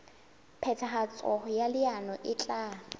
phethahatso ya leano e tla